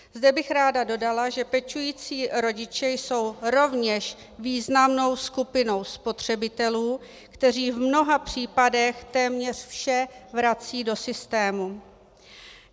Zde bych ráda dodala, že pečující rodiče jsou rovněž významnou skupinou spotřebitelů, kteří v mnoha případech téměř vše vracejí do systému.